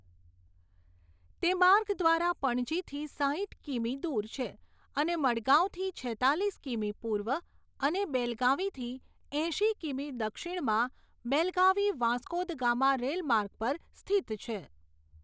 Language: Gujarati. તે માર્ગ દ્વારા પણજીથી સાઠ કિમી દૂર છે અને મડગાંવથી છેત્તાલીસ કિમી પૂર્વ અને બેલગાવીથી એંશી કિમી દક્ષિણમાં બેલગાવી વાસ્કો દ ગામા રેલ માર્ગ પર સ્થિત છે.